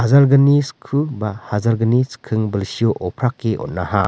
hajalgni sku ba hajalgni chikking bilsio oprake on·aha--